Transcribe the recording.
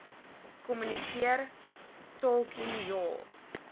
kommunikeer talking your